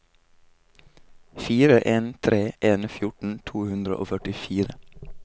fire en tre en fjorten to hundre og førtifire